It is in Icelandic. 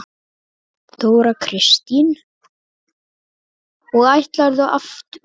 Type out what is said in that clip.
Þóra Kristín: Og ætlarðu aftur?